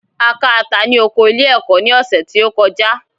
A ká ata ní oko ilé-ẹ̀kọ́ ní ọ̀sẹ̀ tí ó kọjá.